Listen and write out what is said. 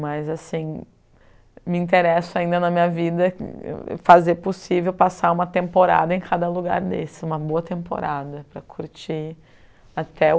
Mas assim, me interessa ainda na minha vida fazer possível passar uma temporada em cada lugar desse, uma boa temporada, para curtir até o